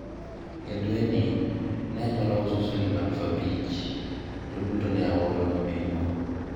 e dwe ni, ne anyalo uso siling' aluf abich to duto ne aoro ne minwa